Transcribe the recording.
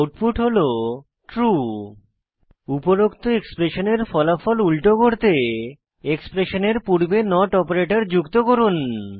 output হল true উপরোক্ত এক্সপ্রেশনের ফলাফল উল্টো করতে এক্সপ্রেশনের পূর্বে নট অপারেটর যুক্ত করুন